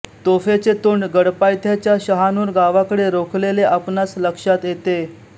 तोफेचे तोंड गडपायथ्याच्या शहानूर गावाकडे रोखलेले आपणास लक्षात येते